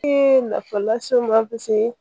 Ee nafa las'i ma